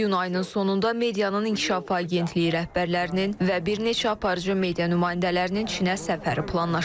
İyun ayının sonunda medianın İnkişaf Agentliyi rəhbərlərinin və bir neçə aparıcı media nümayəndələrinin Çinə səfəri planlaşdırılır.